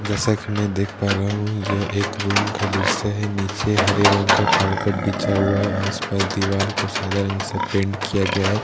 जैसा की मैं देख पा रहा हु यह एक रूम का दृश्य है नीचे हरे रंग का कारपेट बिछा हुआ है आसपास दिवाल को सादा रंग से पेंट किया गया है ।